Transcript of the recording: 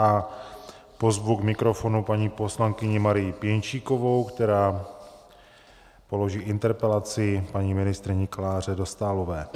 A pozvu k mikrofonu paní poslankyni Marii Pěnčíkovou, která položí interpelaci paní ministryni Kláře Dostálové.